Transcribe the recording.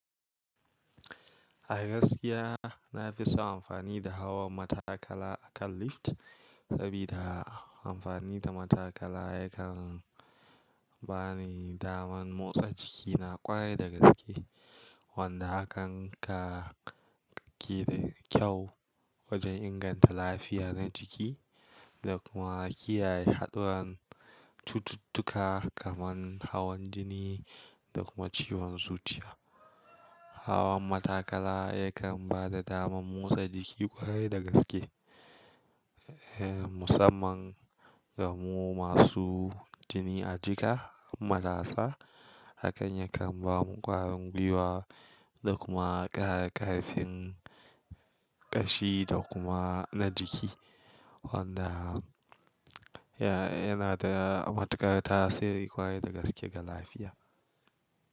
A gaskiya na fi so amfani da hawan matakala akan lift saboda amfani da matakala yakan ba ni daman motsa jiki na ƙwarai da gaske, wanda hakan ka-ki da kyau wajen inganta lafiya na jiki da kuma kiyaye haɗuran cututtuka kamar hawan jini da kuma ciwon zuciya. Hawan matakala yakan ba da damar motsa jiki ƙwarai da gaske, eh musamman ga mu masu jini a jika, malasa. Hakan yakan ba mu ƙwarin gwiwa da kuma ƙara ƙarfin ƙashi da kuma na jiki. Wanda ya-yana da matuƙar tasiri ƙwarai da gaske ga lafiya.